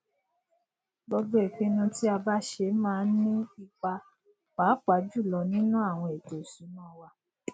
gbogbo ìpinnu tí a bá ṣe máa ń ní ipa pàápàá jùlọ nínú àwọn ètòìṣúná wa